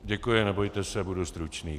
Děkuji, nebojte se, budu stručný.